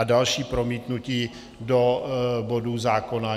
A další promítnutí do bodů zákona.